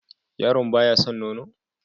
Yaron ba ya san nono?